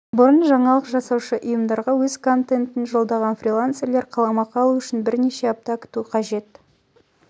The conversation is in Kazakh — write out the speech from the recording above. бұрын жаңалық жасаушы ұйымдарға өз контентін жолдаған фрилансерлер қаламақы алу үшін бірнеше апта күту қаже лса